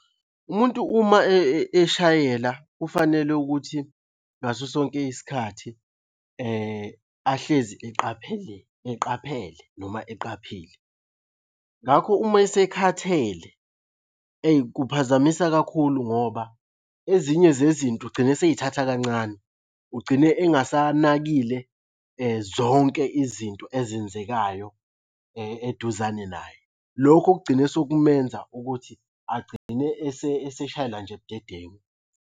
Umuntu uma eshayela kufanele ukuthi ngaso sonke isikhathi, ahlezi eqaphele, eqaphele noma eqaphile. Ngakho uma esekhathele eyi kuphazamisa kakhulu ngoba ezinye zezinto ugcina esey'thatha kancane. Ugcine engasanakile zonke izinto ezenzekayo eduzane naye. Lokhu okugcine sekumenza ukuthi agcine eseshayela nje budedengu.